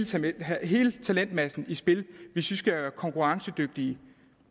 til at have hele talentmassen i spil hvis man skal være konkurrencedygtig